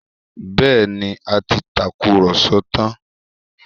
Bẹẹni, a ti tàkùrọ̀sọ tán